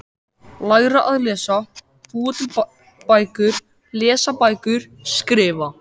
Læra að lesa- búa til bækur- lesa bækur- skrifa